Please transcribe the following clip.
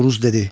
Oruz dedi: